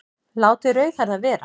Látið rauðhærða vera